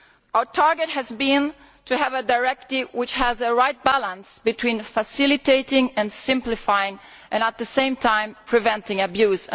Our target has been to have a directive which has the right balance between facilitating and simplifying, and at the same time preventing abuse.